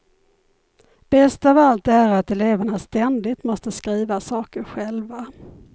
Bäst av allt är att eleverna ständigt måste skriva saker själva.